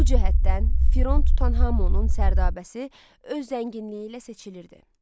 Bu cəhətdən Firon Tutanhamonun sərdabəsi öz zənginliyi ilə seçilirdi.